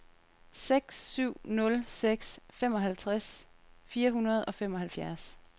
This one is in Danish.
seks syv nul seks femoghalvtreds fire hundrede og femoghalvfjerds